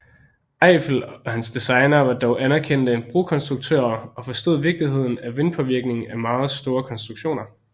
Eiffel og hans designere var dog anerkendte brokonstruktører og forstod vigtigheden af vindpåvirkningen af meget store konstruktioner